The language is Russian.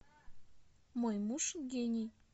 мой муж гений